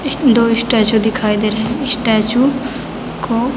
इसमें दो स्टेचु दिखाई दे रहें हैं। स्टेचु को --